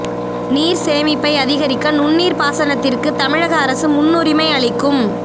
நீர் சேமிப்பை அதிகரிக்க நுண்ணீர் பாசனத்திற்கு தமிழக அரசு முன்னுரிமை அளிக்கும்